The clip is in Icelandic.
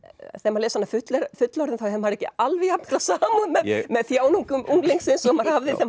les hana fullorðinn fullorðinn þá hefur maður ekki alveg jafn mikla samúð með þjáningum unglingsins og maður hafði